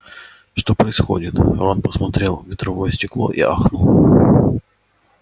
что происходит рон посмотрел в ветровое стекло и ахнул